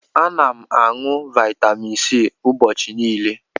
Ana m aṅụ Vaitamin C ụbọchị niile.